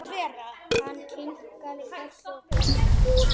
Hann kinkaði kolli og brosti.